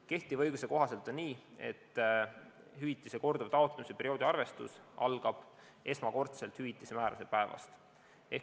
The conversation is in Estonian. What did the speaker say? Kehtiva õiguse kohaselt on nii, et hüvitise korduva taotlemise perioodi arvestus algab esmakordselt hüvitise määramise päevast.